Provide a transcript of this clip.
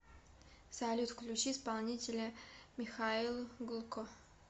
салют включи исполнителя михаил гулко